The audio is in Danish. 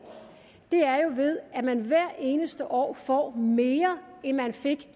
er ved at man hvert eneste år får mere end man fik